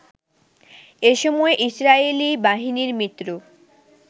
এসময় ইসরায়েলি বাহিনীর মিত্র